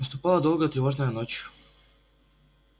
наступала долгая тревожная ночь